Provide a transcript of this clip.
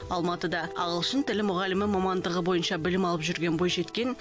алматыда ағылшын тілі мұғалімі мамандығы бойынша білім алып жүрген бойжеткен